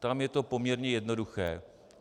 Tam je to poměrně jednoduché.